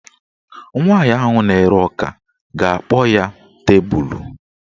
Nwaanyị ahụ na-ere ọka ga-akpọ ya tebulu